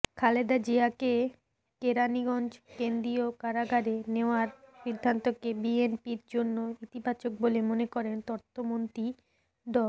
খালেদা জিয়াকে কেরানীগঞ্জ কেন্দ্রীয় কারাগারে নেওয়ার সিদ্ধান্তকে বিএনপির জন্য ইতিবাচক বলে মনে করেন তথ্যমন্ত্রী ড